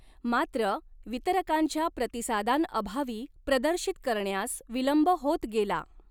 मात्र, वितरकांच्या प्रतिसादांअभावी प्रदर्शित करण्यास विलंब होत गेला.